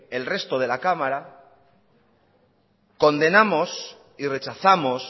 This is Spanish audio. el resto de la cámara condenamos y rechazamos